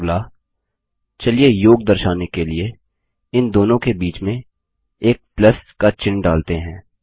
अगला चलिए योग दर्शाने के लिए इन दोनों के बीच में एक प्लस का चिह्न डालते हैं